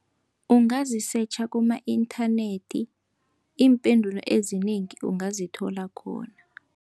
Ungazisetjha kuma-inthanethi, iimpendulo ezinengi ungazithola khona.